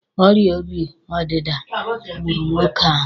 Ọrịa obi ọdịda gburu nwoke ahụ.